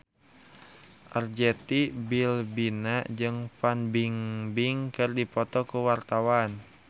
Arzetti Bilbina jeung Fan Bingbing keur dipoto ku wartawan